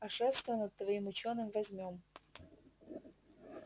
а шефство над твоим учёным возьмём